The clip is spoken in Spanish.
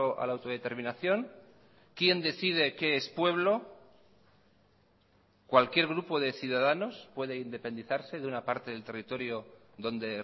a la autodeterminación quién decide qué es pueblo cualquier grupo de ciudadanos puede independizarse de una parte del territorio donde